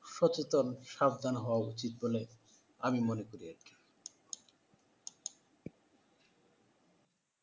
সচেতন, সাবধান হওয়া উচিত বলে আমি মনে করি।